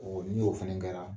ni o fɛnɛ kɛra